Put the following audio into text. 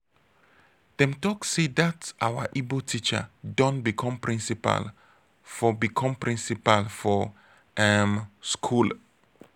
dem talk sey dat our ibo teacher don become principal for become principal for um school.